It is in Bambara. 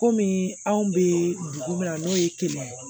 Komi anw be dugu min na n'o ye kelen ye